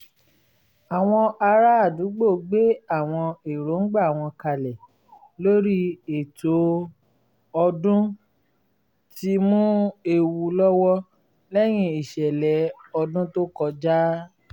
àwọn ará àdúgbò gbé àwọn erongba wọn kalẹ lórí ètò ọdún tí mú ewu lọ́wọ́ lẹ́yìn ìṣẹ̀lẹ̀ ọdún to kọjá